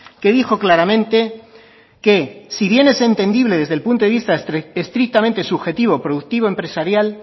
que dijo claramente que si bien es entendible desde el punto de vista estrictamente subjetivo productivo empresarial